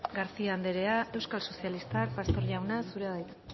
garcía anderea euskal sozialistak pastor jauna zurea da hitza